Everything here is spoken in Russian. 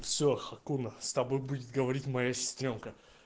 все хакуна с тобой будет говорить моя сестрёнка